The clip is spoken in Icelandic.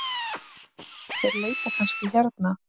Þeir leita kannski hérna.